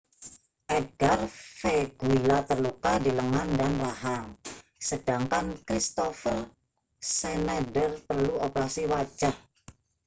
edgar veguilla terluka di lengan dan rahang sedangkan kristoffer schneider perlu operasi wajah